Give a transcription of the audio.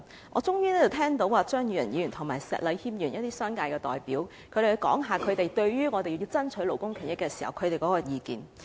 我終於聽到張宇人議員和石禮謙議員等商界代表談論他們對於我們爭取勞工權益的意見。